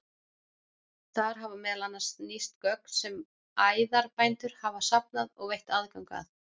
Þar hafa meðal annars nýst gögn sem æðarbændur hafa safnað og veitt aðgang að.